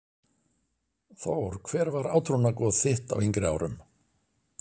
Þór Hver var átrúnaðargoð þitt á yngri árum?